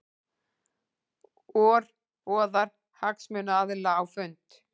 OR boðar hagsmunaaðila á fund